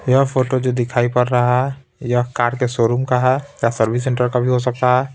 यह फोटो जो दिखाई पड़ रहा है यह कार के शोरूम का है या सर्विस सेंटर का भी हो सकता है।